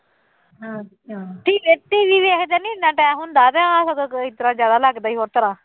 ਅੱਛਾ TV ਵੇਖਦੇ ਨੀ ਇੰਨਾ time ਹੁੰਦਾ ਤੇ ਉਹ ਸਗੋਂ ਇਸ ਤਰ੍ਹਾਂ ਜ਼ਿਆਦਾ ਲੱਗਦੀ ਹੀ